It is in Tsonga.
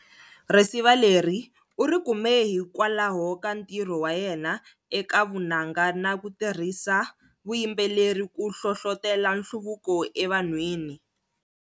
Risiva leri urikume hikwalaho ka ntirho wayena eka Vunanga na kutirhisa vuyimbeleri ku hlohlotela nhluvuko e van'whini.